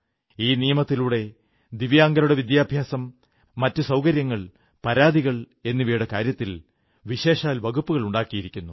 ഈ നിയമത്തിലൂടെ ദിവ്യാംഗരുടെ വിദ്യാഭ്യാസം മറ്റുസൌകര്യങ്ങൾ പരാതികൾ എന്നിവയുടെ കാര്യത്തിൽ വിശേഷാൽ വകുപ്പുകളുണ്ടാക്കിയിരിക്കുന്നു